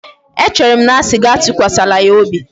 E chere m na m asi gi atukwasala ya obi?